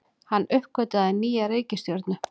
Hann uppgötvaði nýja reikistjörnu!